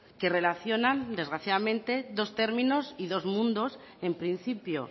que relacionan desgraciadamente dos términos y dos mundos en principio